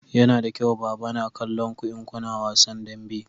Yana da kyau baba na kallon ku in kuna wasan dambe